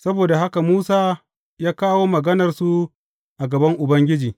Saboda haka Musa ya kawo maganarsu a gaban Ubangiji.